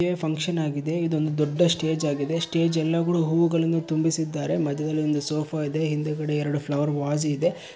A function ಆಗಿದೆ ಇದೊಂದು ದೊಡ್ಡ ಸ್ಟೇಜ್ ಆಗಿದೆ ಸ್ಟೇಜ್ ಯಲ್ಲಾಗುಡು ಹೂಗುಳುನ್ನು ತುಂಬಿಸಿದ್ದಾರೆ ಮದ್ಯದಲ್ಲಿ ಒಂದು ಸೋಫಾ ಇದೆ ಹಿಂದುಗಡೆ ಎರೆಡು ಫ್ಲವರ್ ವಾಸಿ ಇದೆ.